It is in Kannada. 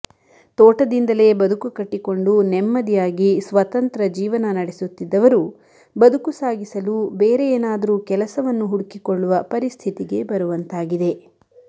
ತೋಟದಿಂದಲೇ ಬದುಕು ಕಟ್ಟಿಕೊಂಡು ನೆಮ್ಮದಿಯಾಗಿ ಸ್ವತಂತ್ರ ಜೀವನ ನಡೆಸುತ್ತಿದ್ದವರು ಬದುಕು ಸಾಗಿಸಲು ಬೇರೆ ಏನಾದರು ಕೆಲಸವನ್ನು ಹುಡುಕಿಕೊಳ್ಳುವ ಪರಿಸ್ಥಿತಿಗೆ ಬರುವಂತಾಗಿದೆ